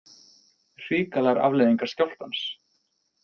Hrikalegar afleiðingar skjálftans